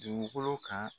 Dugukolo kan